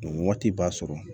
Waati b'a sɔrɔ